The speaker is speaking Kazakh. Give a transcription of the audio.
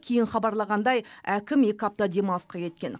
кейін хабарлағандай әкім екі апта демалысқа кеткен